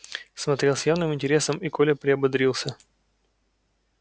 смотрел с явным интересом и коля приободрился